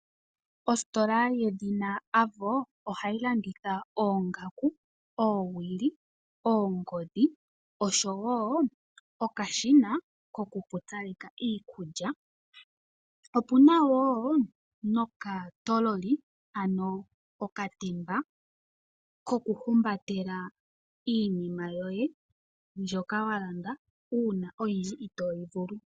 Ositola yedhina Avo ohayi landitha oongaku, oowili , oongodhi oshowoo okashina kokupupyaleka iikulya. Opuna wo nokatololi ano okatemba kokuhumbatela iinima yoye mbyoka wa landa uuna oyindji itooyi vulu.